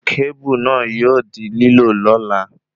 Kábù náà yóò di lílò lola